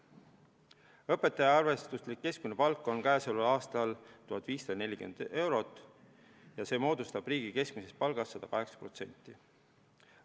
Õpetajate arvestuslik keskmine palk on käesoleval aastal 1540 eurot ja see moodustab riigi keskmisest palgast 108%.